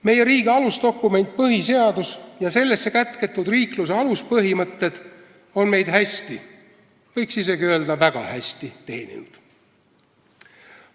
Meie riigi alusdokument põhiseadus ja sellesse kätketud riikluse aluspõhimõtted on meid hästi, võiks isegi öelda, et väga hästi teeninud.